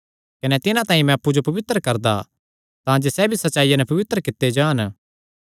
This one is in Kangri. कने तिन्हां तांई मैं अप्पु जो पवित्र करदा तांजे सैह़ भी सच्चाईया नैं पवित्र कित्ते जान